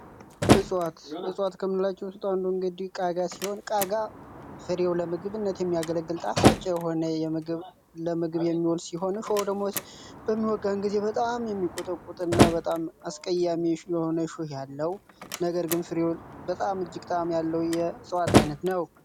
እፃዋት ክምንላችው ውስጥ እንግዲህ አንዱ ቃጋ ሲሆን፤ ቃጋ ፍሬው ለምግብነት የሚያገለግል ጣፋጭ የሆነ ለምግብ የሚወል ሲሆን፤ እሾኩ ደግሞ በሚወጋን ጊዜ በጣም የሚቆጠቁጥ እና በጣም አስቀያሚ የሆነ ሹህ ያለው ነገር ግን ፍሬው በጣም እጅግ ጣዕም ያለው የእጽዋት ዓይነት ነው።